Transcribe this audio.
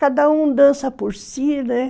Cada um dança por si, né.